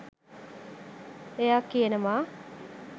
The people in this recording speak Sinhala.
එයා කියනවා